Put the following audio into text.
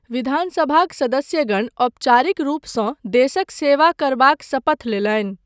विधानसभाक सदस्यगण औपचारिक रूपसँ देशक सेवा करबाक शपथ लेलनि।